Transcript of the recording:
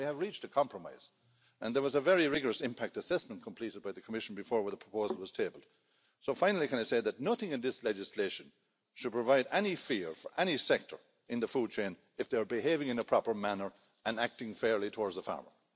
We have reached a compromise, and there was a very rigorous impact assessment completed by the Commission before the proposal was tabled. Finally, nothing in this legislation should provide any fear for any sector in the food chain if they are behaving in a proper manner and acting fairly towards the farmer.